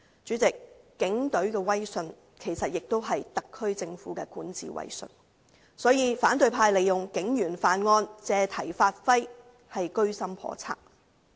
主席，警隊的威信其實也代表特區政府的管治威信，所以反對派利用警員犯案的新聞，借題發揮，居心叵測。